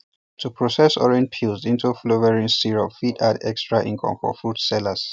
to process orange peels into flavouring syrup fit add extra income for fruit sellers